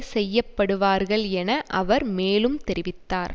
செய்ய படுவார்கள் என அவர் மேலும் தெரிவித்தார்